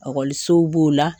sow b'o la